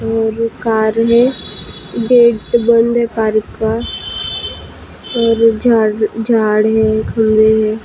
और कार है गेट बंद है कार का और झार झाड़ है खंभे हैं।